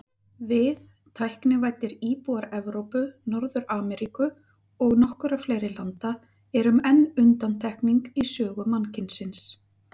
Við, tæknivæddir íbúar Evrópu, Norður-Ameríku og nokkurra fleiri landa, erum enn undantekning í sögu mannkynsins.